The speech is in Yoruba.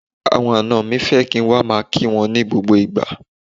Àwọn àna mi fẹ́ kí n wá máa kí wọn ní gbogbo ìgbà.